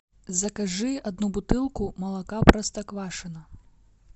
закажи одну бутылку молока простоквашино